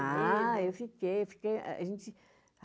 Ah, eu fiquei, fiquei.